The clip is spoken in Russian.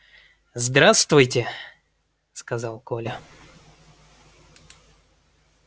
здравствуйте сказал коля